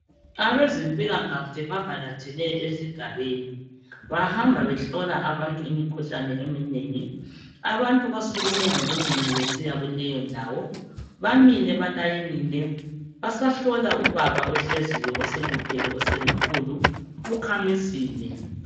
Abezempilakahle bavakatshele esigabeni, bahamba behlola abantu imikhuhlane eminengi. Abantu basukume ngobunengi besiya kuleyo ndawo. Bamile balayinile, basahlola ubaba ohleziyo oseluphele osengukhulu, ukhamisile.